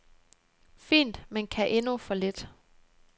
Fint, men kan endnu for lidt.